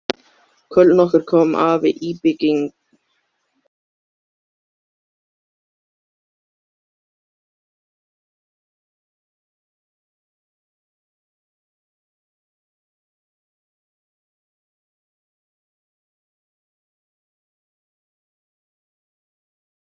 Oj, þú hljómar eins og dópsali.